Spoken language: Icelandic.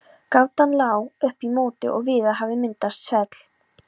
Gatan lá upp í móti og víða hafði myndast svell.